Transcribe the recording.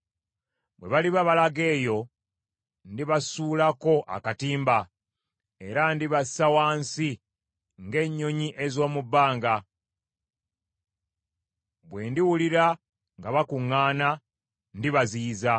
Bwe baliba balaga eyo, ndibasuulako akatimba, era ndibassa wansi ng’ennyonyi ez’omu bbanga. Bwe ndiwulira nga bakuŋŋaana, ndibaziyiza.